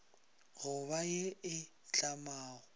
go ba ye e tlamago